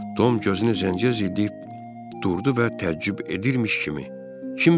Tom gözünü zənciyə zilliyib durdu və təəccüb edirmiş kimi: